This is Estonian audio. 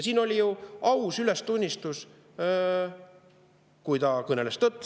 Siin oli ju aus ülestunnistus, kui siin ikka kõneldi tõtt.